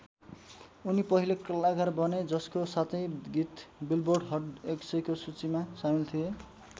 उनी पहिलो कलाकार बने जसको सातै गीत बिलबोर्ड हट १०० को सूचीमा सामिल थिए।